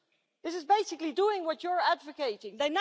This is basically doing what is being advocating